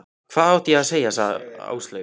Hvað átti ég að segja Áslaugu?